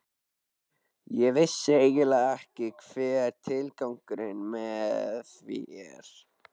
Ég vissi eiginlega ekki hver tilgangurinn með því er.